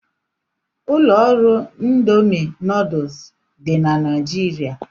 Ụlọ ọrụ Ịndomì nuduls dị na Naijiria.